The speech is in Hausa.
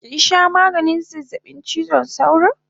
Kinsha maganin zazzabin chizon sauro?